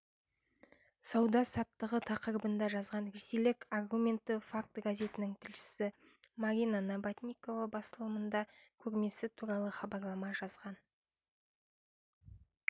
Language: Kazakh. сауда-саттығы тақырыбында жазған ресейлік аргументы факты газетінің тілшісі марина набатникова басылымында көрмесі туралы мақала жазған